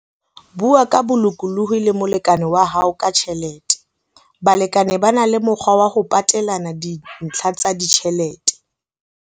Bua ka bolokolohi le molekane wa hao ka tjhelete. Balekane ba na le mokgwa wa ho patelana dintlha tsa ditjhelete.